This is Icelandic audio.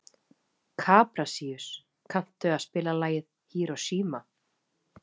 Kaprasíus, kanntu að spila lagið „Hiroshima“?